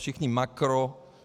Všichni makro.